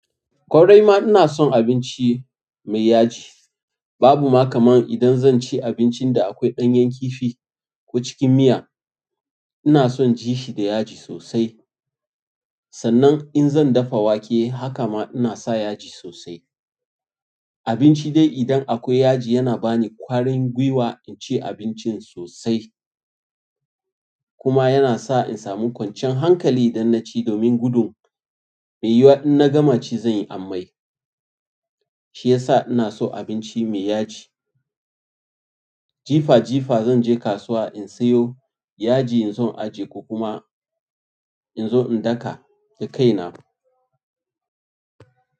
Ƙwarai ma ina son abinci mai yaji. Babu ma kaman idan zanci abinci da akwai ɗanyen kifi ko cikin miya. Ina son ji shi da yaji sosai. Sannan in zan dafa wake haka ma ina sa yaji sosai. Abinci dai idan akwai yaji yana bani ƙwarin gwiwa in ci abincin sosai. Kuma yana sa in samu kwanciyan hankali don na ci domin gudun idan na gama ci zan yi amai. Shi ya sa ina so abinci mai yaji. Jifa jifa zan je kasuwa in sayo yaji in zo in aje ko kuma in zo in daka da kaina.